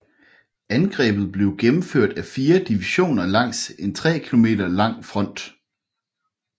Angrebet blev gennemført af fire divisioner langs en tre km lang front